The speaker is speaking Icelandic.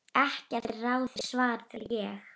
Ekkert að ráði svaraði ég.